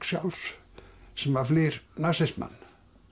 sjálfs sem að flýr nasismann